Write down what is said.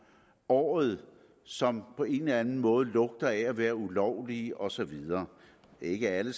året som på en eller anden måde lugter af at være ulovlige og så videre ikke alle